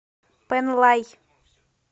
пэнлай